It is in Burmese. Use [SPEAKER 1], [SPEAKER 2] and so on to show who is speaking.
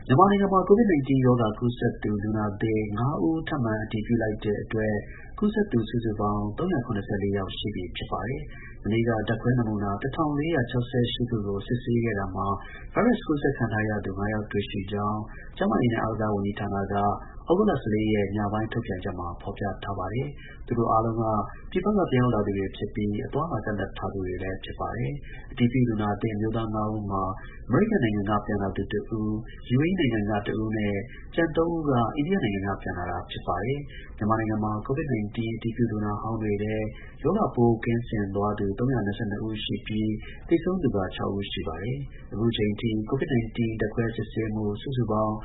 [SPEAKER 1] မြန်မာနိုင်ငံမှာ COVID-19 ကူးစက်သူ လူနာသစ် ၅ ဦး နောက်ထပ် အတည်ပြုလိုက်တဲ့အတွက် ကူးစက်သူ စုစုပေါင်း ၃၇၄ ယောက် ရှိပြီ ဖြစ်ပါတယ်။ မနေ့က ဓါတ်ခွဲ နမူနာ ၁၄၆၈ ခုကို စစ်ဆေးခဲ့တာမှာ ဗိုင်းရပ်စ်ကူးစက်ခံထားရသူ ၅ ယောက်တွေ့ရှိကြောင်း ကျန်းမာရေးနဲ့ အားကစား ဝန်ကြီးဌာနက သြဂုတ်လ ၁၄ ရက် ညပိုင်းထုတ်ပြန်ချက်မှာ ဖော်ပြထားပါတယ်။ သူတို့အားလုံးက ပြည်ပက ပြန်ရောက်လာသူ တွေဖြစ်ပြီး အသွားအလာ ကန့်သတ်ထားသူတွေလည်း ဖြစ်ပါတယ်။ မနေ့က အတည်ပြုလူနာ အမျိုးသား ၅ ဦးမှာ အမေရိကန်နိုင်ငံက ပြန်လာသူ ၁ ဦး၊ ယူအေအီးနိုင်ငံ က ၁ ဦးနဲ့ ကျန် ၃ ဦးက အိန္ဒိယက ပြန်လာ တာဖြစ်ပါတယ်။COVID-19 အတည်ပြုလူနာဟောင်းတွေထဲ ရောဂါပိုးကင်းစင်လာသူ ၃၂၂ ဦးရှိပြီး သေဆုံးသူက ၆ ဦးရှိပါတယ်။ အခုထိ COVID-19 ဓါတ်ခွဲစစ်ဆေးမှု စု
[SPEAKER 2] စုပေါင်း